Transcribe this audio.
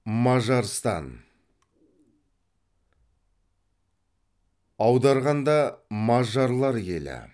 мажарстан аударғанда мажарлар елі